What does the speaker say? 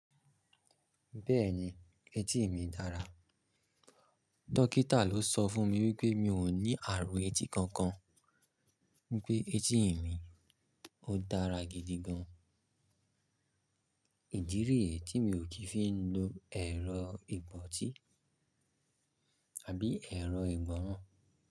Bẹ́ẹ̀ni, etí mi dára. Dọ́kítà ló sọ fún mi wípé mi ò ní àrùn etí kankan, wípé etí mi ó dára gidi gan-an. Ìdí rí è tí mi ò kí ń fi ń lo ẹ̀rọ ìbọtí àbí ẹ̀rọ ìgbọ̀ràn.